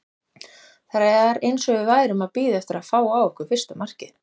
Það var eins og við værum að bíða eftir að fá á okkur fyrsta markið.